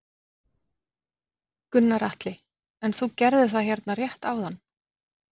Gunnar Atli: En þú gerðir það hérna rétt áðan?